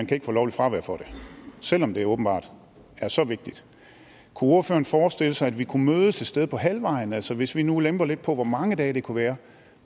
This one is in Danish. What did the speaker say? kan få lovligt fravær for det selv om det åbenbart er så vigtigt kunne ordføreren forestille sig at vi kunne mødes et sted på halvvejen altså hvis vi nu lemper lidt på hvor mange dage det kunne være